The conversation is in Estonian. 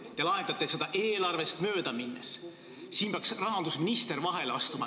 Te lahendate seda eelarvest mööda minnes ja siin peaks rahandusminister vahele astuma.